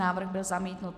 Návrh byl zamítnut.